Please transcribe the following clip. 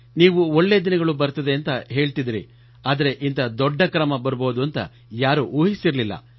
ನೀವು ಒಳ್ಳೇ ದಿನಗಳು ಬರುತ್ತವೆ ಎಂದು ಹೇಳಿದ್ದಿರಿ ಆದರೆ ಇಂಥ ದೊಡ್ಡ ಕ್ರಮ ಕೈಗೊಳ್ಳಬಹುದು ಎಂದು ಯಾರೂ ಊಹಿಸಿರಲಿಲ್ಲ